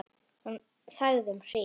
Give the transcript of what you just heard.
Hún þagði um hríð.